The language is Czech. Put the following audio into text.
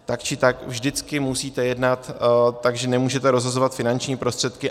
Tak či tak, vždycky musíte jednat tak, že nemůžete rozhazovat finanční prostředky.